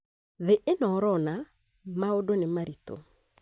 Thĩ ĩno urona maũndũ nĩ marĩtũ